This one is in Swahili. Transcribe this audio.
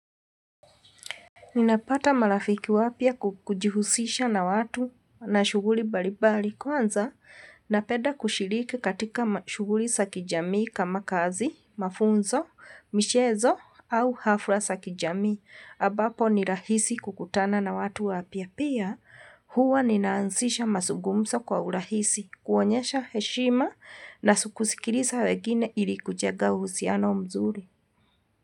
Nina pata marafiki wapi kwa kujihusisha na watu na shughuli mbali mbali. Kwanza, napeda kushiriki katika shughuli za kijamii kama kazi, mafunzo, michezo, au hafla za kijamii. Ambapo ni rahisi kukutana na watu wapya pia, huwa nina anzisha mazungumzo kwa urahisi, kuonyesha heshima na kusikiliza wengine ili kujenga uhusiano mzuri.